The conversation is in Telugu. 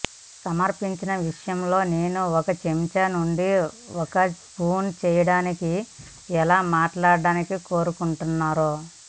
సమర్పించిన విషయం లో నేను ఒక చెంచా నుండి ఒక స్పూన్ చేయడానికి ఎలా మాట్లాడటానికి కోరుకుంటున్నారో